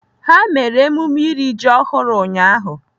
Ha mere emume iri ji ọhụrụ ụnyaahụ.